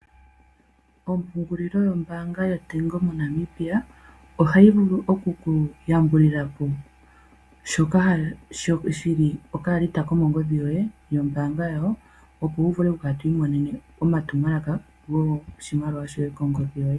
Ompungulilo yombaanga yotango moNamibia, oha yi vulu oku ku yambulilila po shoka shi li komongodhi yoye mombaanga yawo, opo wu vule oku kala twi imonene omatumwalaka goshimaliwa shoye, kongodhi yoye.